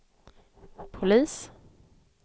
polis